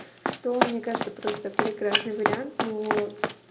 что мне кажется просто прекрасный вариант но